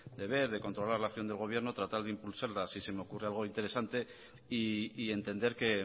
de ver de controlar la acción del gobierno tratar de impulsarla si se me ocurre algo interesante y entender que